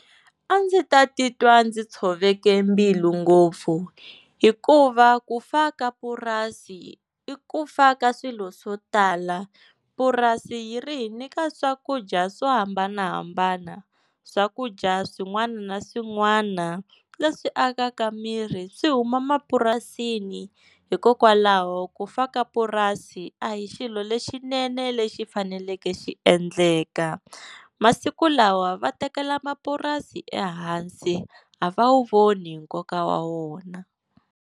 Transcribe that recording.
A ndzi ta titwa ndzi tshoveke mbilu ngopfu, hikuva ku fa ka purasi i ku fa ka swilo swo tala. Purasi ri hi nyika swakudya swo hambanahambana, swakudya swin'wana na swin'wana leswi akaka miri swi huma mapurasini. Hikokwalaho ku fa ka purasi a hi xilo lexinene lexi faneleke xi endleka. Masiku lawa va tekela mapurasi ehansi a va wu voni nkoka wa wona.